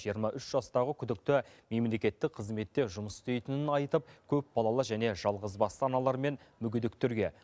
жиырма үш жастағы күдікті мемлекеттік қызметте жұмыс істейтінін айтып көпбалалы және жалғызбасты аналар мен мүгедектерге